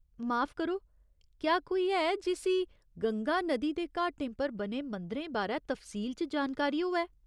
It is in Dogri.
माफ करो, क्या कोई ऐ जिस्सी गंगा नदी दे घाटें पर बने मंदरें बारै तफसील च जानकारी होऐ ?